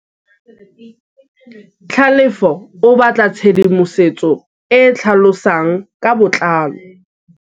Tlhalefô o batla tshedimosetsô e e tlhalosang ka botlalô.